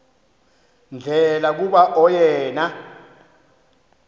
ndlela kuba oyena